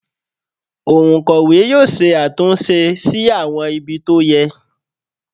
Òǹkọ̀wẹ́ yóò ṣe àtúnṣe sí àwọn ibi tó yẹ